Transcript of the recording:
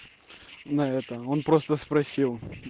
на это он просто спросил